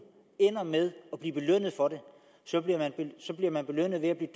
ender med at blive belønnet for det så bliver man belønnet ved at blive